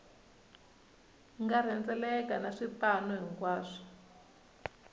nga rhendzeleka na swipanu hinkwaswo